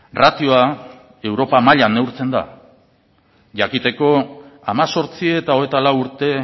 ratioa europa mailan neurtzen da jakiteko hemezortzi eta hogeita lau urte